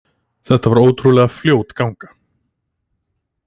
Þetta var ótrúlega flott ganga